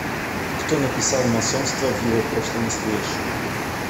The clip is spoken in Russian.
кто написал масонство в его прошлом и настоящем